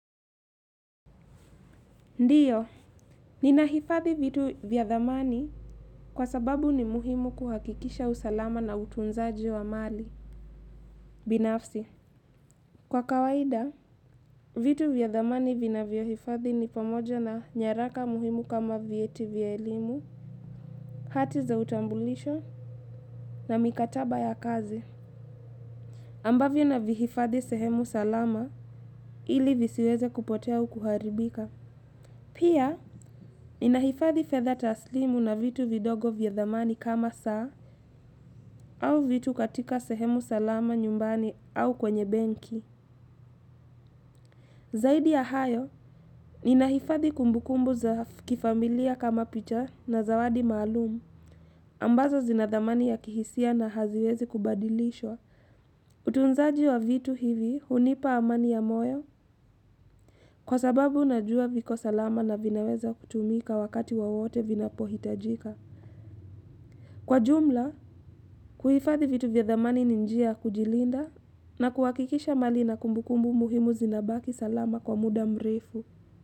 Ndiyo, ninahifadhi vitu vya thamani kwa sababu ni muhimu kuhakikisha usalama na utunzaji wa mali, binafsi. Kwa kawaida, vitu vya thamani vinavyohifadhi ni pamoja na nyaraka muhimu kama vyeti vya elimu, hati za utambulisho na mikataba ya kazi. Ambavyo navihifadhi sehemu salama ili visiweze kupotea au kuharibika. Pia, ninahifathi fedha taslimu na vitu vidogo vya thamani kama saa au vitu katika sehemu salama nyumbani au kwenye benki. Zaidi ya hayo, ninahifadhi kumbukumbu za kifamilia kama picha na zawadi maalumu ambazo zina thamani ya kihisia na haziwezi kubadilishwa. Utunzaji wa vitu hivi hunipa amani ya moyo kwa sababu unajua viko salama na vinaweza kutumika wakati wowote vinapohitajika. Kwa jumla, kuhifadhi vitu vya thamani ni njia ya kujilinda na kuhakikisha mali na kumbukumbu muhimu zinabaki salama kwa muda mrefu.